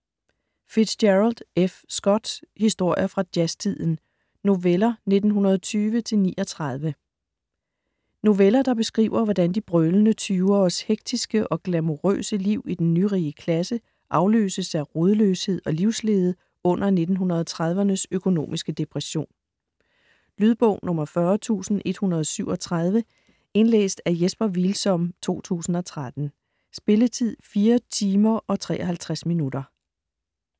Fitzgerald, F. Scott: Historier fra jazztiden: noveller 1920-39 Noveller der beskriver, hvordan de brølende tyveres hektiske og glamourøse liv i den nyrige klasse afløses af rodløshed og livslede under 1930'ernes økonomiske depression. Lydbog 40137 Indlæst af Jesper Hvilsom, 2013. Spilletid: 4 timer, 53 minutter.